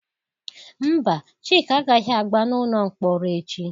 Mba, Chika agaghị agba n'ụlọ mkpọrọ echi